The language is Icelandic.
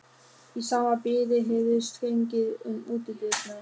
Í sama bili heyrðist gengið um útidyrnar.